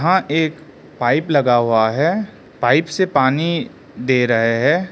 एक पाइप लगा हुआ है पाइप से पानी दे रहा है।